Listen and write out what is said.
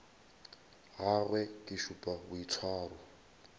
ga gagwe ke šupa boitshwaro